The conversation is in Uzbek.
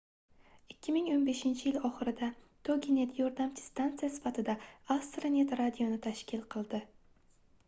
2015-yil oxirida toginet yordamchi stansiya sifatida astronet radioni tashkil qildi